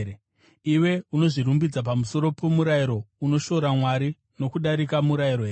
Iwe unozvirumbidza pamusoro pomurayiro, unoshora Mwari nokudarika murayiro here?